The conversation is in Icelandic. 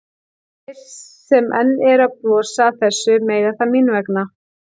Þeir sem enn eru að brosa að þessu mega það mín vegna.